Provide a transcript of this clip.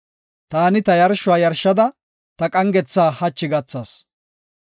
“Taani ta yarshuwa yarshada, ta qangetha hachi gathas.